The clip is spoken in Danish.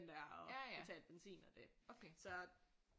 Der og betale benzin og det så